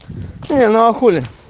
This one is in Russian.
не ну а хули